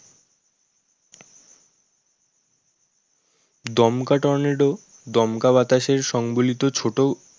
দমকা টর্নেডো দমকা বাতাসের সংবলিত ছোটো